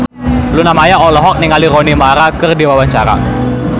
Luna Maya olohok ningali Rooney Mara keur diwawancara